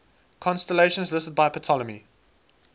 constellations listed by ptolemy